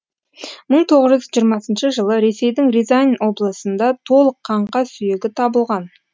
мың тоғыз жүз жиырмасыншы жылы ресейдің рязань облысында толық қаңқа сүйегі табылған